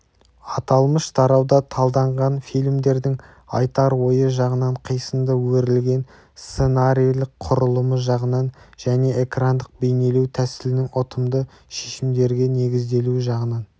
аталмыш тарауда талданған фильмдердің айтар ойы жағынан қисынды өрілген сценарийлік құрылымы жағынан және экрандық-бейнелеу тәсілінің ұтымды шешімдерге негізделуі жағынан